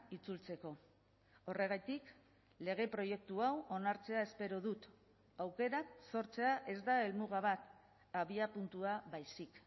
itzultzeko horregatik lege proiektu hau onartzea espero dut aukerak sortzea ez da helmuga bat abiapuntua baizik